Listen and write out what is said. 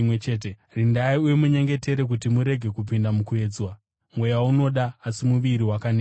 Rindai uye munyengetere kuti murege kupinda mukuedzwa. Mweya unoda, asi muviri wakaneta.”